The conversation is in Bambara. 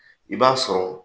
I b'a sɔrɔ